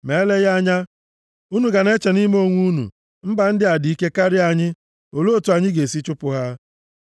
Ma eleghị anya, unu ga na-eche nʼime onwe unu sị, “Mba ndị a dị ike karịa anyị, olee otu anyị ga-esi chụpụ ha?”